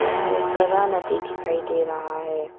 यहां एक बड़ा नदी दिखाई दे रहा है।